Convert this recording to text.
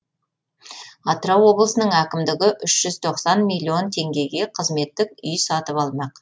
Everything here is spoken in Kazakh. атырау облысының әкімдігі үш жүз тоқсан миллион теңгеге қызметтік үй сатып алмақ